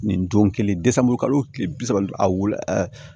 Nin don kelen kalo o tile bi saba a wolo